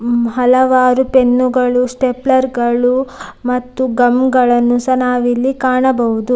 ಹಲವಾರು ಪೆನ್ನುಗಳು ಸ್ಟೇಪ್ಲರ್ ಗಳು ಗಮ್ ಗಳನ್ನೂ ನಾವು ಇಲ್ಲಿ ಕಾಣಬಹುದು-